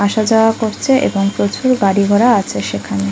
আসা-যাওয়া করছে এবং প্রচুর গাড়ি ঘোড়া আছে সেখানে।